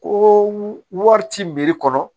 Ko wari ci kɔnɔ